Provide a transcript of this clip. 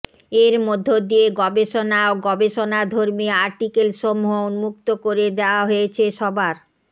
এর মধ্য দিয়ে গবেষণা ও গবেষণাধর্মী আর্টিকেল সমূহ উন্মুক্ত করে দেয়া হয়েছে সবার